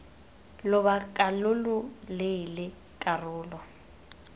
lobaka lo lo leele karolo